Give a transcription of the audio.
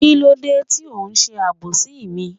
Kílódé ti o n sé àbòsí mi?